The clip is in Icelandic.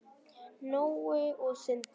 Nói og Sindri.